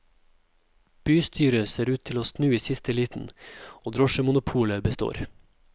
Bystyret ser ut til å snu i siste liten, og drosjemonopolet består.